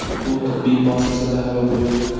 U tibbiy muassasada halok bo‘ldi.